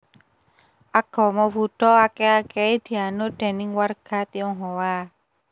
Agama Buddha akèh akèhé dianut déning warga Tionghoa